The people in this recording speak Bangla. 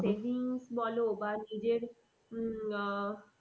বলো বা নিজের উম আহ